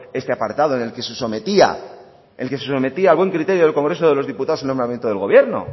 este apartado en el que se sometía el que se sometía a buen criterio del congreso de los diputados en el nombramiento del gobierno